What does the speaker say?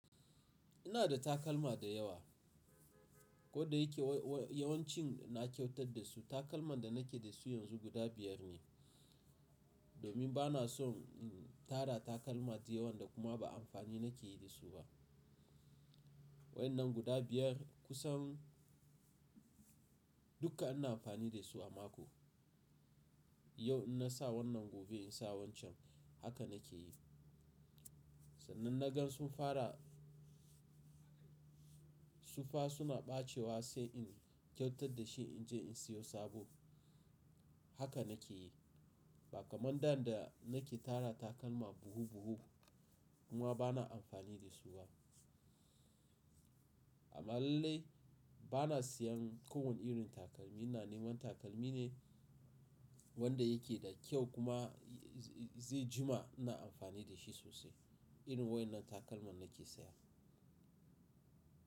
Ina da takalma da yawa, kodda yake yawancin na kyautar da su. Takalman da nake da su yanzu guda biyar ne. Domin bana son tara takalma da yawa, da kuma ba amfani nake yi da su ba. Wa yan na guda biyar kusan dukka ina amfani da su a mako. Yau ina sa wannan, gobe ina sa wancan. Haka nake yi. Sannan na gan sun fara, su fa suna ɓacewa sai in kyautar da shi in je in siyo sabo. Haka nake yi. Ba kamar da dan nake tara takalma buhu buhu kuma bana amfani da su ba. Amma lalai bana sayen kowane irin takalmi. Ina neman takalmi ne wanda yake da kyau kuma zai jima ina amfani da shi sosai. Irin wa'yan nan takalman nake saya.